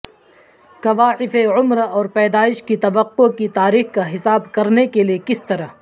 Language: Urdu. کوائف عمر اور پیدائش کی توقع کی تاریخ کا حساب کرنے کے لئے کس طرح